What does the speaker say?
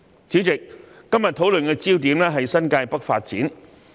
主席，今天討論的焦點是新界北發展。